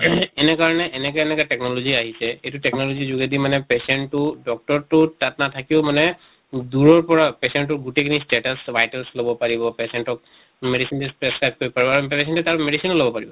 ing এনেকে মানে এনেকে এনেকা technology আহিছে, এইটো technology যোগেদি মানে patient টো doctor টো তাত নাথাকিও মানে দূৰৰ পৰা patient তোৰ গোটেই খিনি status vital লব পাৰিব। patient ক medicine prescribe কৰিব পাৰিব আৰু তাৰ medicine ও লব পাৰিব